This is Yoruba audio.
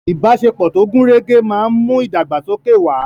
Ìbáṣepọ̀ tó gùn rẹ́gẹ́ máa ń mú ìdàgbàsókè wà.